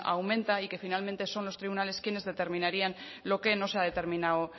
aumenta y que finalmente son los tribunales quienes determinarían lo que no se ha determinado